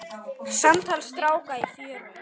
Samtal stráka í fjöru